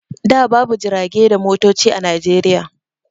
Da babu jirage da motoci a Najeriya.